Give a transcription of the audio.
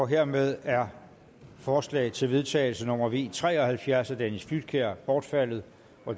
hermed er forslag til vedtagelse nummer v tre og halvfjerds af dennis flydtkjær bortfaldet